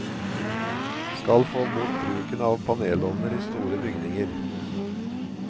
Skal få bort bruken panelovner i store byginger.